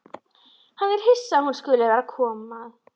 Hann er hissa að hún skuli vera að koma.